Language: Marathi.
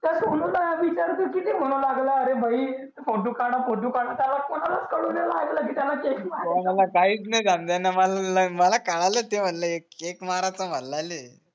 तर किती म्हणू लागल अरे भाई फोटू काढ़ा फोटू काढा त्याला कोणालाच कळू नाही आला कि प्याला केक कोणाला काहीच नाही समझे न मला काढासाठी म्हणले एक केक माराचा